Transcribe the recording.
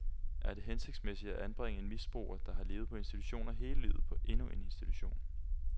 Er det hensigtsmæssigt at anbringe en misbruger, der har levet på institutioner hele livet på endnu en institution?